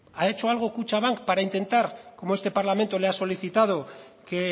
ha hecho algo kutxabank para intentar como este parlamento le ha solicitado que